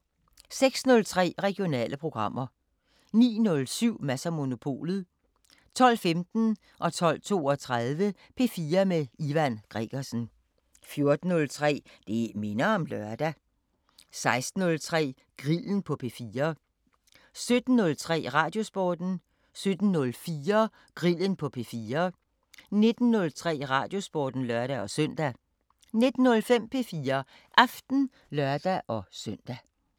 06:03: Regionale programmer 09:07: Mads & Monopolet 12:15: P4 med Ivan Gregersen 12:32: P4 med Ivan Gregersen 14:03: Det minder om lørdag 16:03: Grillen på P4 17:03: Radiosporten 17:04: Grillen på P4 19:03: Radiosporten (lør-søn) 19:05: P4 Aften (lør-søn)